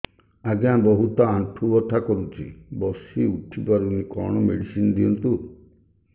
ଆଜ୍ଞା ବହୁତ ଆଣ୍ଠୁ ବଥା କରୁଛି ବସି ଉଠି ପାରୁନି କଣ ମେଡ଼ିସିନ ଦିଅନ୍ତୁ